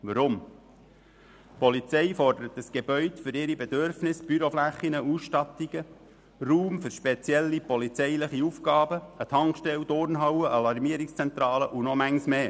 Die Polizei fordert das Gebäude für ihre Bedürfnisse, Büroflächen und Ausstattungen, ausserdem Raum für spezielle polizeiliche Aufgaben, eine Tankstelle, eine Turnhalle, eine Alarmierungszentrale und vieles mehr.